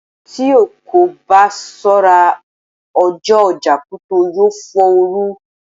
Tí o kò bá ṣọ́ra, ọjọ́ ọjà Kuto yó fò ọ́ ru.